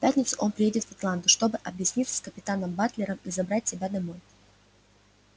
в пятницу он приедет в атланту чтобы объясниться с капитаном батлером и забрать тебя домой